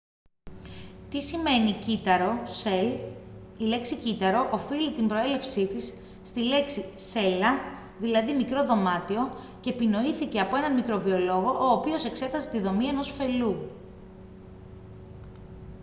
τι σημαίνει κύτταρο cell; η λέξη κύτταρο οφείλει την προέλευσή της στη λέξη «cella» δηλαδή «μικρό δωμάτιο» και επινοήθηκε από έναν μικροβιολόγο ο οποίος εξέταζε τη δομή ενός φελλού